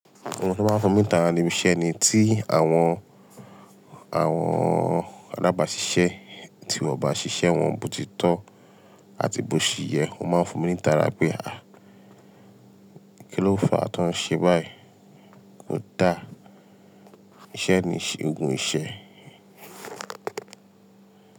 Ohun tó máa ń fún mi ní tara ni iṣẹ́ ni tí àwọn, àwọn alábàáṣiṣẹ́ tí wọ́n bá ṣiṣẹ́ wọn bòtítọ́ àti bó ṣì yẹ, ó máa ń fún mi ní tara pé a, kí ló fàá tó ń ṣe báyìí? Kodá, iṣẹ́ ni ṣe ogun iṣẹ́